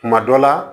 Kuma dɔ la